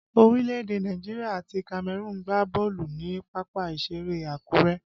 Orílẹ̀ èdè Nàìjíríà àti Cameroon gbá bọ́ọ̀lù ni pápá ìṣeré Akure